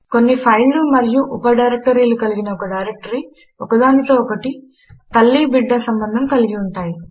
కొన్ని ఫైళ్ళు మరియు ఉప డైరెక్టరీలు కలిగిన ఒక డైరెక్టరీ ఒక దానితో ఒకటి తల్లి బిడ్డ సంబంధము కలిగియుంటాయి